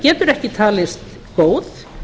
getur ekki talist góð